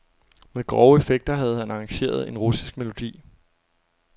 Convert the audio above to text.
Med grove effekter havde han arrangeret en russisk melodi.